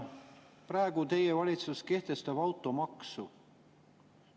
Praegu teie valitsus kehtestab automaksu.